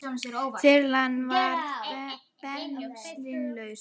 Þyrlan varð bensínlaus